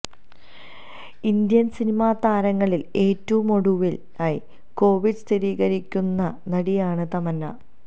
Indian cinema താരങ്ങളിൽ ഏറ്റവുമൊടുവിലായി Covid സ്ഥിരീകരിക്കുന്ന നടിയാണ് തമന്ന